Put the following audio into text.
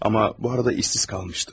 Amma bu arada işsiz qalmışdı.